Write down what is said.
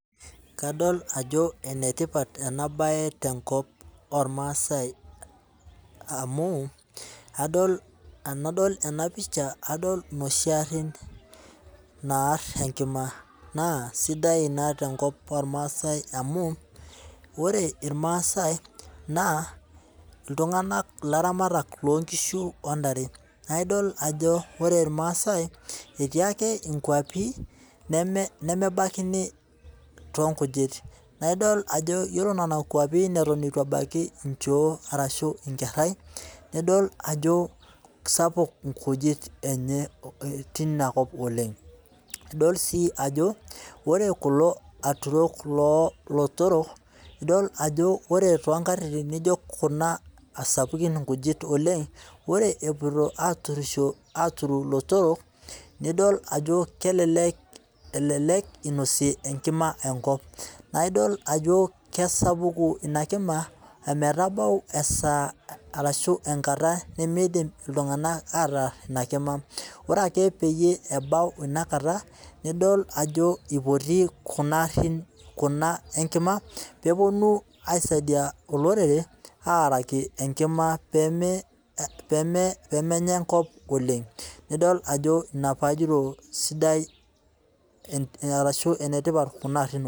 Kadol ajo enetipat ena bae tenkop ormaasai, amu tenadol ena picha adol inoshi garin naare enkima ,sidai ina tenkop ormaasai amu ore irmaasai iltunganak laramatak loonkishu ontare neeku idol ajo ore irmaasai etii ake ikwapi nemebaikini toonkujit naa idol ajo yiolo nena kwapi neton eitu ebaiki nchoo orashu inkerai nidol ajo keisapuk nkujit tenkalo oleng. idol sii ajo ore kulo aturok loolotorok idol ajo ore toonkatitin naijo Kuna sapukin nkujit oleng, ore epoito aaturisho aaturu ilotorok idol ajo kelelek einosie enkima enkop, naa idol ajo keisapuk ina kima ometabau enkata nemeidim iltunganak ataar ina kima ,ore eke peyie ebau inakata nidol peyie eipoti Kuna arin enkima pee eponu aisaidia olorere aaraki enkima pee menya enkop oleng naa pee idol ajo inetipat kuna garin oleng.